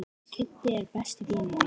Kiddi er besti vinur hans.